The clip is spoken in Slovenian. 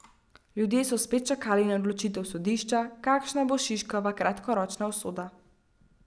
Ljudje so spet čakali na odločitev sodišča, kakšna bo Šiškova kratkoročna usoda.